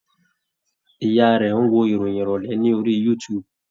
Ìyá a rẹ̀ ń wo ìròyìn ìrọ̀lẹ́ ní orí youtube